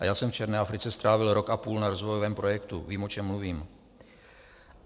A já jsem v černé Africe strávil rok a půl na rozvojovém projektu, vím, o čem mluvím.